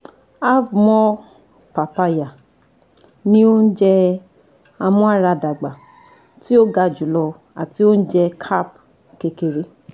cs] Have More Papaya Ni ounjẹ amuaradagba ti o ga julọ ati ounjẹ carb kekere